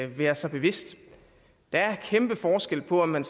være sig bevidst der er en kæmpe forskel på om man